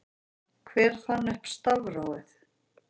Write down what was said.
hver fann upp stafrófið